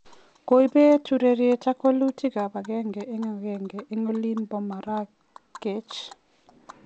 Kobet urerriet ak walutik ab agenge en agenge en olin bo Marrakech